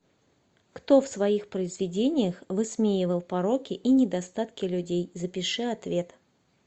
кто в своих произведениях высмеивал пороки и недостатки людей запиши ответ